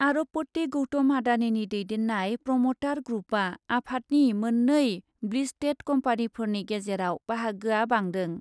आरबपति गौतम आडानिनि दैदेन्नाय प्रमटार ग्रुपआ आफादनि मोन्नै ब्लिस्टेड कम्पानिफोरनि गेजेराव बाहागोया बांदों।